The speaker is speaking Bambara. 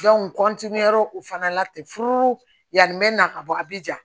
u fana la ten furu yanni n bɛ na ka bɔ a bɛ ja